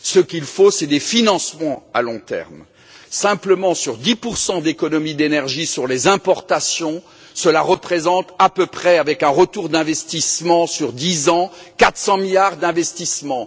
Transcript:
Ce qu'il faut, ce sont des financements à long terme. 10 simplement d'économies d'énergie sur les importations représentent à peu près, avec un retour d'investissement sur 10 ans, 400 milliards d'investissements.